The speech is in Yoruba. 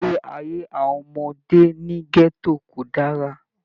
Ìgbé ayé àwọn ọmọdé ní gẹto kò dára.